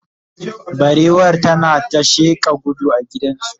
barewar tana ta sheƙa gudu a gidan zoo.